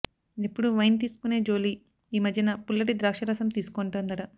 ఎప్పుడూ వైన్ తీసుకునే జోలీ ఈ మధ్యన పుల్లటి ద్రాక్షరసం తీసుకుంటోందట